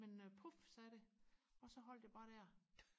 men øh puf sagde det og så holdte jeg bare der